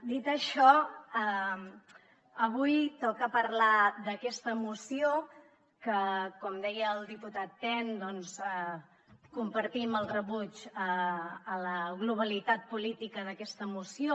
dit això avui toca parlar d’aquesta moció que com deia el diputat ten compartim el rebuig a la globalitat política d’aquesta moció